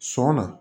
Sɔn na